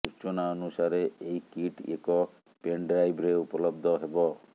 ସୂଚନା ଅନୁସାରେ ଏହି କିଟ୍ ଏକ ପେନ୍ ଡ୍ରାଇଭ୍ରେ ଉପଲବ୍ଧ ହେବ